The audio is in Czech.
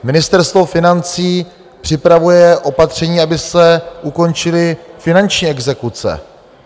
Ministerstvo financí připravuje opatření, aby se ukončily finanční exekuce.